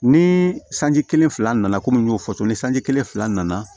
Ni sanji kelen fila nana komi n y'o fɔ cogo min ni sanji kelen fila nana